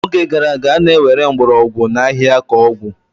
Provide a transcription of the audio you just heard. N'oge gara aga, a na-ewere mgbọrọgwụ na ahịhịa ka ọgwụ.